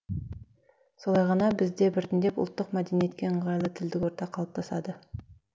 солай ғана бізде біртіндеп ұлттық мәдениетке ыңғайлы тілдік орта қалыптасады